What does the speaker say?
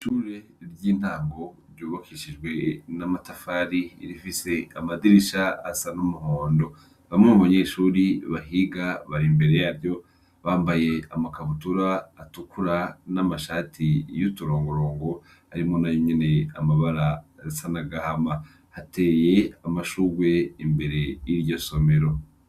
Ishure ry’intango rybakishijwe n’amatafari rifise amadirisha asa n’umuhondo, bamwe mubanyeshure bahiga barimbere yaryo, bambaye amakabutura atukura n’amashati y’uturongorongo arimwo na yonyene amabara asa n’agahama. Hateye amashurwe imbere y’iryo somero.